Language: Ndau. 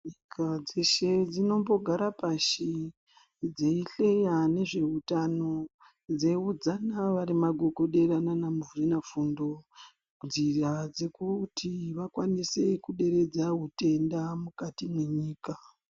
Nyika dzeshe dzinombogara pashi dzeihleya ngezvehutano dzeiudzana nana magogodera nanamuzvina fundo nzira dzekuti vakwanise kuderedza zvitenda mukati mwenyika.